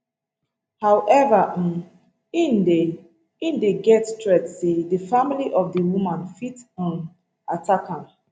however um im dey im dey get threat say di family of di woman fit um attack am